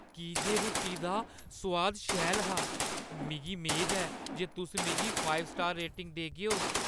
की जे रुट्टी दा सोआद शैल हा, मिगी मेद ऐ जे तुस मिगी पंज-स्टार रेटिंग देगेओ।